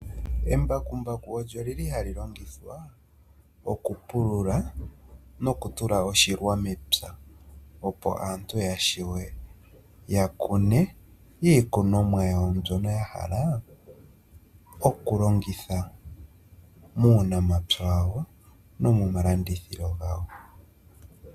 Embakumbaku olyo li li ha li longithwa okupulula nokutula oshilwa mepya, opo aantu ya wape ya kune iikunomwa yawo mbyono ya hala okulongitha muunamapya wawo nomomalandithilo gawo.